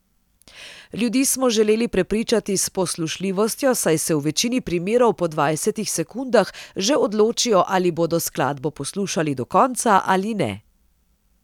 Ljudi smo želeli prepričati s poslušljivostjo, saj se v večini primerov po dvajsetih sekundah že odločijo ali bodo skladbo poslušali do konca ali ne.